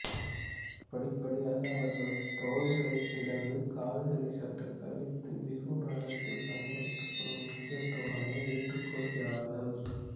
படிப்படியாக அவர்கள் தோள்களைத் திறந்து கால்களை சற்றுத் தவிர்த்து பிஹு நடனத்தில் பயன்படுத்தப்படும் முக்கிய தோரணையை ஏற்றுக்கொள்கிறார்கள்